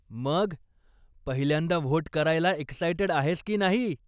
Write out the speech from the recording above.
मग, पहिल्यांदा व्होट करायला एक्सायटेड आहेस की नाही?